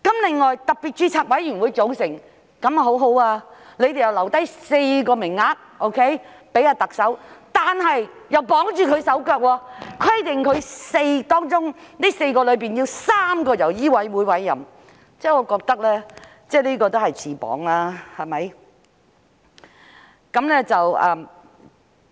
另外，特別註冊委員會的組成方法很不錯，當局留下4個名額給特首，但又綁住她手腳，規定4個名額中要有3個是由醫委會委任，我認為這也是自綁手腳的做法。